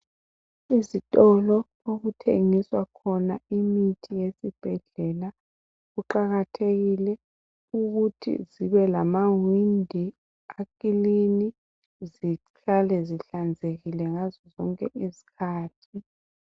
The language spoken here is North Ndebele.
Izitolo okuthengiswa khona imithi yezibhedlela. Kuqakathekile ukuthi kube lamawindi akilini zihlale zihlanzekile ngazo zonke izikhathi.